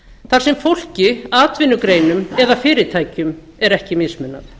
þar sem fólki atvinnugreinum eða fyrirtækjum er ekki mismunað